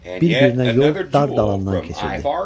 Bir-birinə yol dar dalandan keçirdi.